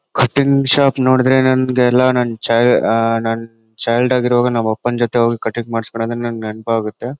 Cutting shop ನೋಡಿದ್ರೆ ನಂಗೆಲ್ಲಾ ನನ್ ಚೈ ಅಹ್ ನನ್ ಚೈಲ್ಡ್ ಆಗಿರುವಾಗ ನಮ್ಮ ಅಪ್ಪನ ಜೊತೆ ಹೋಗಿ ಕಟಿಂಗ್ ಮಾಡ್ಸಕೊನದು ನಂಗೆ ನೆನಪಾಗುತ್ತೆ .